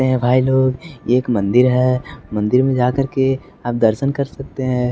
ऐ भाई लोग ये एक मंदिर है मंदिर में जाकर के आप दर्शन कर सकते हैं।